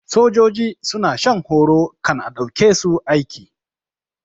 Sojoji suna shan horo kan a ɗauke su aiki